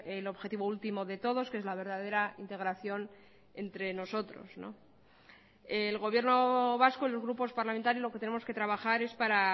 el objetivo último de todos que es la verdadera integración entre nosotros el gobierno vasco los grupos parlamentarios lo que tenemos que trabajar es para